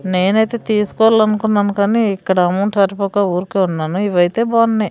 నేనైతే తీసుకోవాలన్కున్నాను కానీ ఇక్కడ అమౌంట్ సరిపోక ఊరికే ఉన్నాను ఇవైతే బాన్నాయ్.